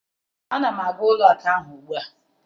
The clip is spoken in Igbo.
Ana m aga ụlọ akụ ahụ ugbu a